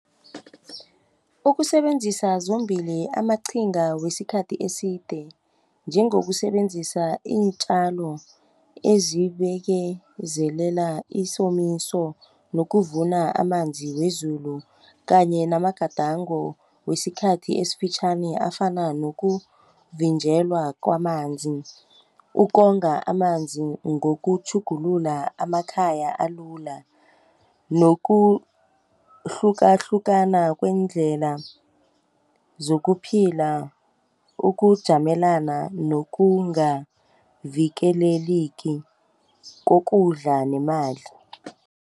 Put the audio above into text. Ukusebenzisa zombili amaqhinga wesikhathi eside njengokusebenzisa iintjalo ezibekezelela isomiso nokuvuna amanzi wezulu kanye namagadango wesikhathi esifitjhani afana nokuvinjelwa kwamanzi. Ukonga amanzi ngokutjhugulula amakhaya alula nokuhlukahlukana kweendlela zokuphila ukujamelana nokungavikeleleki kokudla nemali.